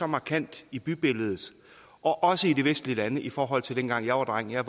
markant i bybilledet også i de vestlige lande i forhold til da jeg var dreng jeg